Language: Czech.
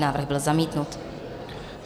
Návrh byl zamítnut.